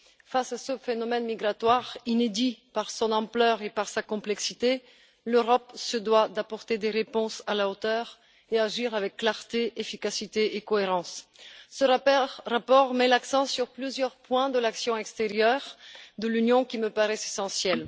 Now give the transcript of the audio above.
Face à ce phénomène migratoire inédit par son ampleur et par sa complexité, l'Europe se doit d'apporter des réponses à la hauteur et d'agir avec clarté, efficacité et cohérence. Ce rapport met l'accent sur plusieurs points de l'action extérieure de l'Union qui me paraissent essentiels.